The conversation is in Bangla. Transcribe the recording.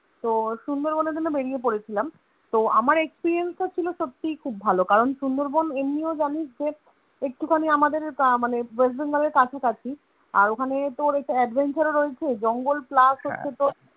তো সুন্দরবনের জন্য বেরিয়ে পরেছিলাম তো আমার Experience টা ছিল সত্যিই খুব ভালো কারণ সুন্দরবন এমনিও জানিস যে একটুখানি আমাদের ওটা মানে West Bengal এর কাছাকাছি, আর ওখানে তো অনেক Adventure ও রয়েছে জঙ্গল plus হচ্ছে তোর